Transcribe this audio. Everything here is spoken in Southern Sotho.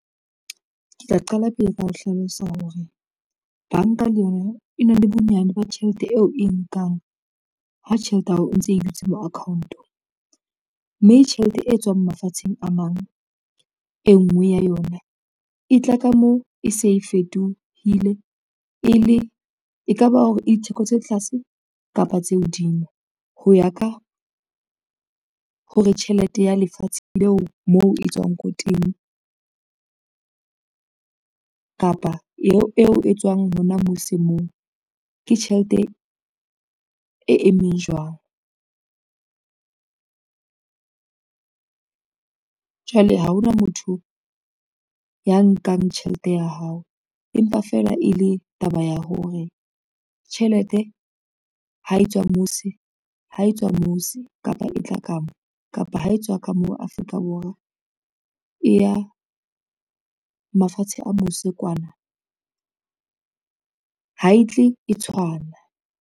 Ke tla qala pele ka ho hlalosa hore, banka le yona e na le bonyane ba tjhelete eo e nkang ha tjhelete ya hao e ntse e dutse ho account-o. Mme tjhelete e tswang mafatsheng a mang, e ngwe ya yona e tla ka mo e se e fetohile e ka ba hore e ditheko tse tlase kapa tse hodimo, ho ya ka hore tjhelete ya lefatshe leo moo e tswang ko teng, kapa eo e tswang hona mose moo, ke tjhelete e emeng jwang. Jwale ha ona motho ya nkang tjhelete ya hao, empa fela e le taba ya hore tjhelete ha e tswa mose kapa e tla ka mo, kapa ho etswa ka mo Afrika Borwa e ya mafatshe a mose kwana ha e tle e tshwana.